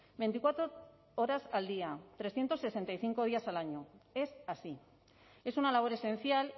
veinticuatro horas al día trescientos sesenta y cinco días al año es así es una labor esencial